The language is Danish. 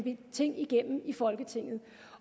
en ting